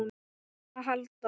um að halda.